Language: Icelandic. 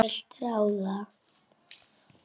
Þú vilt ráða.